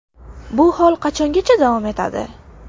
Bu hol qachongacha davom etadi?